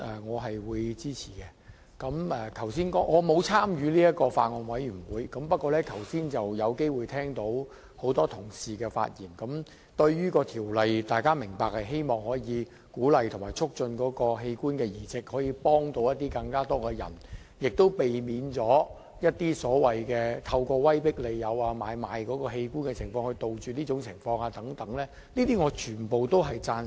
我並沒有參與該法案委員會，剛才聽到多位同事發言，大家均明白並希望可藉着本《條例草案》鼓勵及促進器官移植，幫助更多人，亦可避免或杜絕有人透過威迫利誘來買賣器官的情況，我全都贊成。